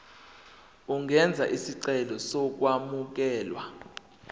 ungenza isicelo sokwamukelwa